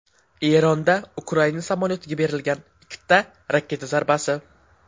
Eronda Ukraina samolyotiga berilgan ikkita raketa zarbasi.